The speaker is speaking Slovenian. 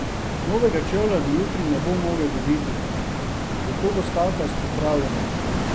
Novega čevlja do jutri ne bo mogel dobiti, zato bo skakal s popravljenim.